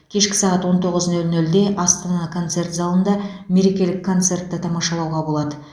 кешкі сағат он тоғыз нөл нөлде астана концерт залында мерекелік концертті тамашалауға болады